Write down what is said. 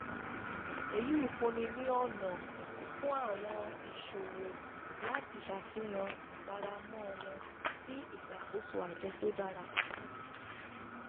èyí fúnni ní ọnà fún àwọn ìṣòwò láti ṣafihan ìfaramọ́ wọn sí ìṣàkóso ajọ tó dára.